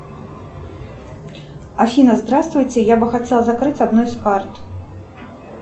афина здравствуйте я бы хотела закрыть одну из карт